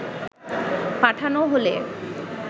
পাঠানো হলে